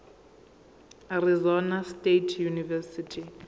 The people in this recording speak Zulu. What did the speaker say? arizona state university